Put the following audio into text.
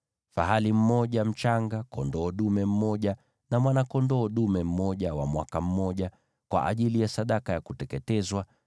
fahali mmoja mchanga, kondoo dume mmoja na mwana-kondoo dume mmoja wa mwaka mmoja, kwa ajili ya sadaka ya kuteketezwa;